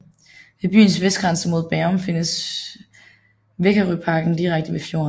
Ved byens vestgrænse mod Bærum findes Vækerøparken direkte ved fjorden